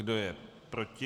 Kdo je proti?